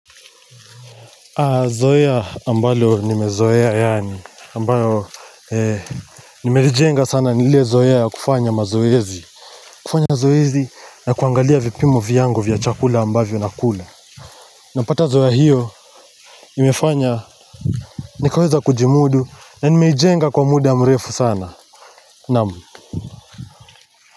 Zoea ambalo nimezoea yaani ambayo eh nimejenga sana ni ile zoea ya kufanya mazoezi kufanya zoezi na kuangalia vipimo vyangu vya chakula ambavyo nakula napata zoea hiyo imefanya nikaweza kujimudu na nimeijenga kwa muda mrefu sana naam.